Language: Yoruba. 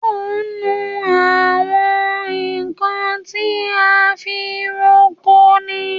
So ń nu àwọn nkan ti a fi ń roko ni?